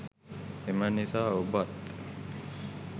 එම නිසා ඔබත්